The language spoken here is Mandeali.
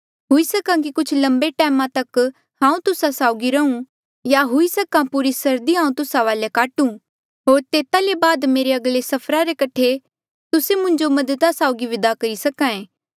हुई सक्हा कि कुछ लंबे टैमा तक हांऊँ तुस्सा साउगी रहूँ या हुई सकां पूरी सरदी हांऊँ तुस्सा वाले काटूं होर तेता ले बाद मेरे अगले सफरा रे कठे तुस्से मुंजो मददा साउगी विदा करी सके